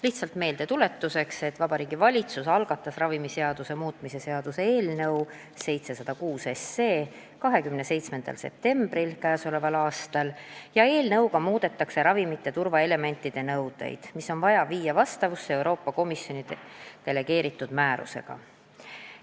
Lihtsalt meeldetuletuseks ütlen, et Vabariigi Valitsus algatas ravimiseaduse muutmise seaduse eelnõu 27. septembril k.a ja eelnõuga muudetakse ravimite turvaelementide nõudeid, mis on vaja viia vastavusse Euroopa Komisjoni delegeeritud määrusega.